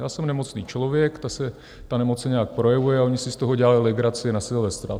Já jsem nemocný člověk, ta nemoc se nějak projevuje, a oni si z toho dělali legraci na Silvestra.